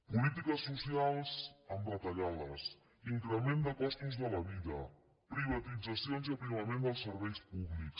polítiques socials amb retallades increment de costos de la vida privatitzacions i aprimament dels serveis públics